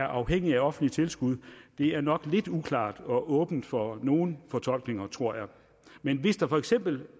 afhængige af offentligt tilskud er nok lidt uklar og åben for nogle fortolkninger tror jeg men hvis der for eksempel